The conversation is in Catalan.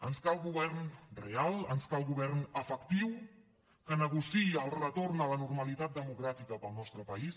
ens cal govern real ens cal govern efectiu que negociï el retorn a la normalitat democràtica per al nostre país